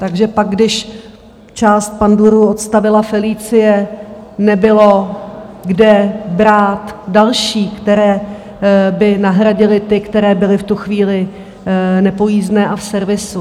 Takže pak když část pandurů odstavila Felicie, nebylo kde brát další, které by nahradily ty, které byly v tu chvíli nepojízdné a v servisu.